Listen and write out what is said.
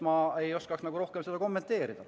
Ma ei oska nagu rohkem seda kommenteerida.